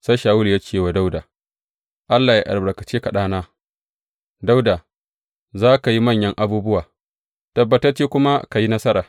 Sai Shawulu ya ce wa Dawuda, Allah yă albarkace ka ɗana, Dawuda, za ka yi manyan abubuwa, tabbatacce kuma ka yi nasara.